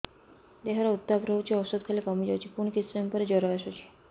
ଦେହର ଉତ୍ତାପ ରହୁଛି ଔଷଧ ଖାଇଲେ କମିଯାଉଛି ପୁଣି କିଛି ସମୟ ପରେ ଜ୍ୱର ଆସୁଛି